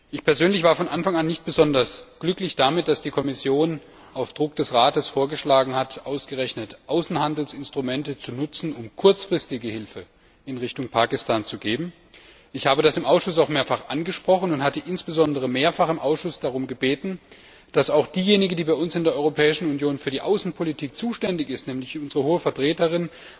Ich persönlich war von Anfang an nicht besonders glücklich damit, dass die Kommission auf Druck des Rates vorgeschlagen hat, ausgerechnet Außenhandelsinstrumente zu nutzen, um kurzfristige Hilfe für Pakistan bereitzustellen. Ich habe das im Ausschuss auch mehrfach angesprochen und dabei insbesondere darum gebeten, dass auch diejenige, die in der Europäischen Union für die Außenpolitik zuständig ist, nämlich unsere Hohe Vertreterin,